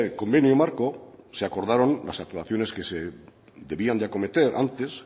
convenio marco se acordaron las actuaciones que se debían de acometer antes